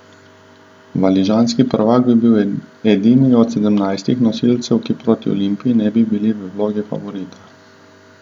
Valižanski prvak bi bil edini od sedemnajstih nosilcev, ki proti Olimpiji ne bi bil v vlogi favorita.